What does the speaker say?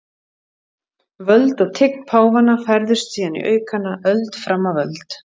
Völd og tign páfanna færðust síðan í aukana öld fram af öld.